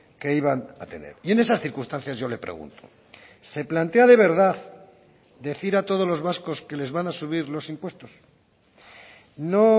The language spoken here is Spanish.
que iban a tener y en esas circunstancias yo le pregunto se plantea de verdad decir a todos los vascos que les van a subir los impuestos no